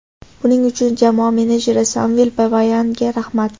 Buning uchun jamoa menejeri Samvel Babayanga rahmat.